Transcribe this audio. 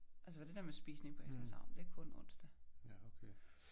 Altså for det der med spisning på Hesnæs havn det er kun onsdag